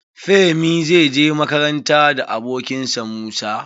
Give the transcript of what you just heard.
Femi zai je makaranta da abokin sa Musa.